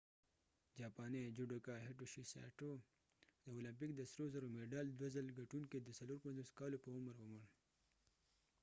جاپانی جوډوکا هیټوشي سایټو judoka hitoshi saitoد اولمپک د سرو زرو مډال دوه څل ګټونکې د 54 کالو په عمر ومړ